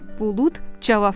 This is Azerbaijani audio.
Bulud cavab verdi: